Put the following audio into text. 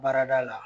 Baarada la